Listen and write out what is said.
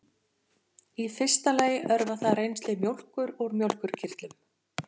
í fyrsta lagi örvar það rennsli mjólkur úr mjólkurkirtlum